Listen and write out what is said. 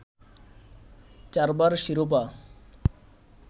চারবার শিরোপা